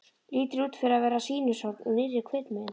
Lítur út fyrir að vera sýnishorn úr nýrri kvikmynd.